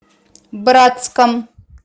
братском